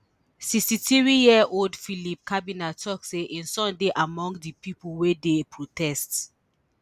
sixty-threeyear old philip cobbinah tok say im son dey among di pipo wey dey protest